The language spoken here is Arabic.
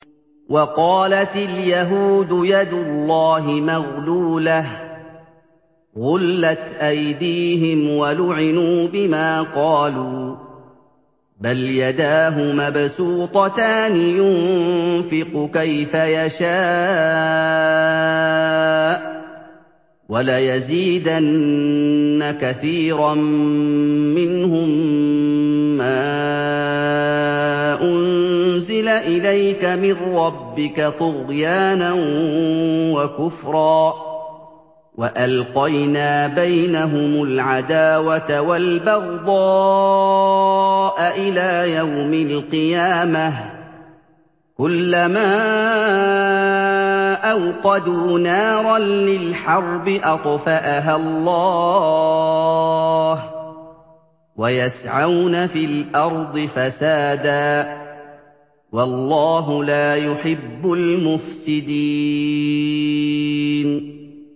وَقَالَتِ الْيَهُودُ يَدُ اللَّهِ مَغْلُولَةٌ ۚ غُلَّتْ أَيْدِيهِمْ وَلُعِنُوا بِمَا قَالُوا ۘ بَلْ يَدَاهُ مَبْسُوطَتَانِ يُنفِقُ كَيْفَ يَشَاءُ ۚ وَلَيَزِيدَنَّ كَثِيرًا مِّنْهُم مَّا أُنزِلَ إِلَيْكَ مِن رَّبِّكَ طُغْيَانًا وَكُفْرًا ۚ وَأَلْقَيْنَا بَيْنَهُمُ الْعَدَاوَةَ وَالْبَغْضَاءَ إِلَىٰ يَوْمِ الْقِيَامَةِ ۚ كُلَّمَا أَوْقَدُوا نَارًا لِّلْحَرْبِ أَطْفَأَهَا اللَّهُ ۚ وَيَسْعَوْنَ فِي الْأَرْضِ فَسَادًا ۚ وَاللَّهُ لَا يُحِبُّ الْمُفْسِدِينَ